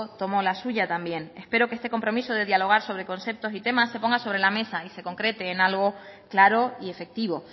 tomo la suya también espero que este compromiso de dialogar sobre conceptos y temas se ponga sobre la mesa y se concrete en algo claro y efectivo